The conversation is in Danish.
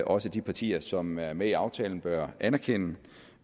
også at de partier som er med i aftalen bør anerkende